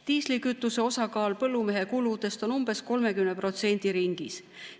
Diislikütuse osakaal põllumehe kuludest on umbes 30% ringis.